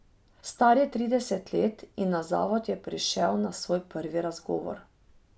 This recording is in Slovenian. Star je trideset let in na zavod je prišel na svoj prvi razgovor.